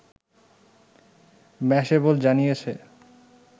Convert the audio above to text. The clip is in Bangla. ম্যাশএবল জানিয়েছে